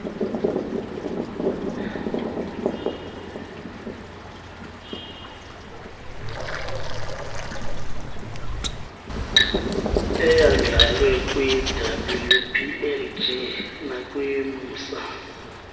eyandlalwe kwiwplg nakwimsa